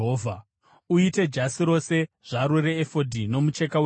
“Uite jasi rose zvaro reefodhi nomucheka webhuruu,